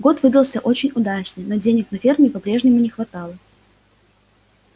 год выдался очень удачный но денег на ферме по-прежнему не хватало